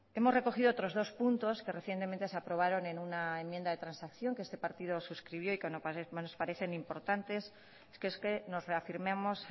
hemos recogido otros dos puntos que recientemente se aprobaron en una enmienda de transacción que este partido suscribió y que nos parecen importantes que es que nos reafirmamos